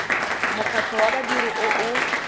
mokgatlho wa badiri o o